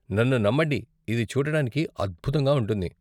నన్ను నమ్మండి, ఇది చూడటానికి అద్భుతంగా ఉంటుంది.